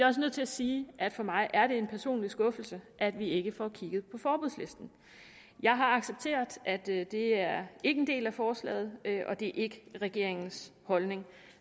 også nødt til at sige at det for mig er en personlig skuffelse at vi ikke får kigget på forbudslisten jeg har accepteret at det er en del af forslaget og det ikke er regeringens holdning